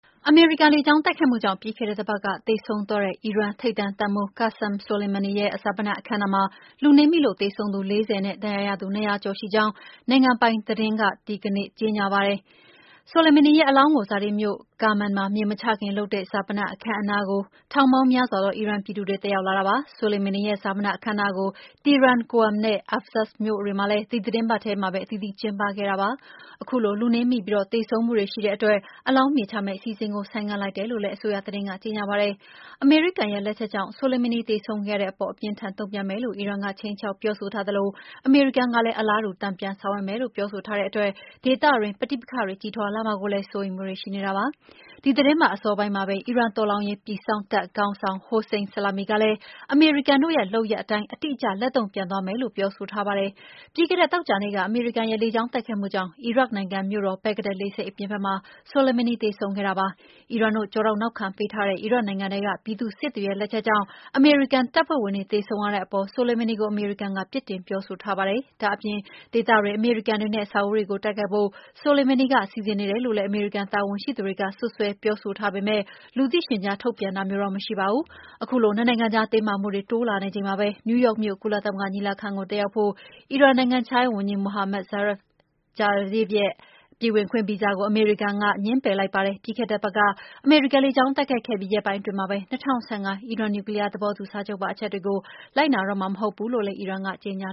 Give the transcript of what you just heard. အမေရိကန်လေကြောင်းတိုက်ခိုက်မှုကြောင့် ပြီးခဲ့တဲ့တပတ်က သေဆုံးသွားတဲ့ အီရန်ထိပ်တန်းတပ်မှူး Qassem Soleimani ရဲ့ ဈာပနအခမ်းအနားမှာ လူနင်းမိလို့သေဆုံးသူ ၄၀ ဦးနဲ့ ဒဏ်ရာရသူ ၂၀၀ ကျော်ရှိကြောင်း အီရန် နိုင်ငံပိုင်သတင်းက ဒီကနေ့ ကြေညာပါတယ်။ Soleimani ရဲ့အလောင်းကို ဇာတိမြို့ Kerman မှာမြေမချခင် လုပ်တဲ့ က ဈာပနအခမ်းအနားကို ထောင်ပေါင်းများစွာသော အီရန်ပြည်သူတွေတက်ရောက်လာတာပါ။ Soleimani ရဲ့ ဈာပနအခမ်းအနားကို Tehran၊ Qom နဲ့ Ahvaz မြို့တွေမှာလည်း ဒီသီတင်းပတ်ထဲ အသီးသီး ကျင်းပခဲ့ပါတယ်။ ခုလို လူနင်းမိပြီး သေဆုံးမှုတွေရှိခဲ့တဲ့အတွက် အလောင်းမြေချမယ့်အစီအစဉ်ကို ဆိုင်းငံ့ လိုက်တယ်လို့လည်း အစိုးရသတင်းက ကြေညာပါတယ်။ အမေရိကန်ရဲ့ လက်ချက်ကြောင့် Soleimani သေဆုံးခဲ့ရတဲ့အပေါ် အပြင်း အထန်တုံ့ပြန်မယ်လို့ အီရန်က ခြိမ်းခြောက်ပြောဆိုထားသလို အမေရိကန်ကလည်း အလားတူ တန်ပြန်ဆောင်ရွက်မယ်လို့ ပြောဆိုထားတဲ့အတွက် ဒေသတွင်း ပဋိပက္ခတွေ ကြီးထွားလာမှာကိုလည်း စိုးရိမ်နေကြတာပါ။ ဒီသီတင်းပတ်အစောပိုင်းမှာပဲ အီရန်တော်လှန်ရေး ပြည်စောင့်တပ်ခေါင်းဆောင် Hossein Salami ကလည်း အမေရိကန်တို့ရဲ့ လုပ်ခဲ့ရပ်အတိုင်း အတိအကျ လက်တုံ့ပြန်သွားမယ်လို့ ပြောဆိုထားတာပါ။ ပြီးခဲ့တဲ့သောကြာနေ့က အမေရိကန်ရဲ့လေကြောင်းတိုက်ခိုက်မှုကြောင့် အီရတ်နိုင်ငံမြို့တော်၊ ဘဂ္ဂဒက် လေဆိပ်အပြင်ဘက်မှာ Soleimani သေဆုံးခဲ့တာပါ။ အီရန်တို့ကျောထောက်နောက်ခံပေးထားတဲ့ အီရတ်နိုင်ငံထဲကပြည်သူ့စစ်တွေရဲ့လက်ချက်ကြောင့် အမေရိကန်တပ်ဖွဲ့ဝင်တွေသေဆုံးရတဲ့အပေါ် Soleimani ကို အမေရိကန်က ပြစ်တင်ပြောဆိုထားတာပါ။ ဒါ့အပြင် ဒေသတွင်းမှာရှိတဲ့ အမေရိကန် တွေနဲ့ အဆောက်အဦးတွေကို တိုက်ခိုက်ဖို့ Soleimani စီစဉ်နေတယ်လို့လည်း အမေရိကန်တာဝန်ရှိသူတွေက စွပ်စွဲပြောဆိုထားပေမယ့် လူသိရှင်ကြား ထုတ်ပြန်ထားတာမရှိပါဘူး။ ခုလိုနှစ်နိုင်ငံကြား တင်းမာမှုတွေတိုးလာနေချိန်မှာပဲ နယူးယောက်မြို့ ကုလသမဂ္ဂညီလာခံကိုတက်ရောက်မယ့် အီရန်နိုင်ငံခြားရေးဝန်ကြီး Mohammad Javad Zarif ကို အမေရိကန်က ပြည်ဝင်ခွင့် ဗီဇာ ငြင်းပယ်လိုက်ပါတယ်။ ပြီးခဲ့တဲ့ တပတ် အမေရိကန်လေကြောင်းတိုက်ခိုက်ခဲ့ပြီး ရက်ပိုင်းအတွင်းမှာပဲ၂၀၁၅ အီရန်နျူကလီးယား သဘောတူစာချုပ်ပါ အချက်တွေ ကိုလိုက်နာတော့မှာမဟုတ်ဘူးလို့လည်း အီရန်က ကြေညာ